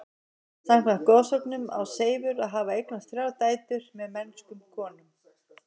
Samkvæmt goðsögunum á Seifur að hafa eignast þrjár dætur með mennskum konum.